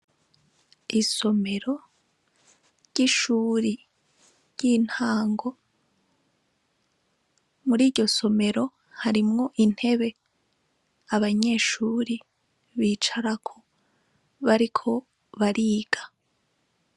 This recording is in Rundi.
Isomero ry'ishure ry'intango, muriryo somero harimwo intebe abanyeshure bicarako bariko bariga.